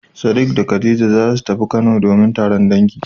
Sadik da khadija zasu tafi kano domin taron dangi.